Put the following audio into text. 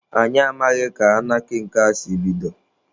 Anyị amaghị ka anarkị nke a si bido.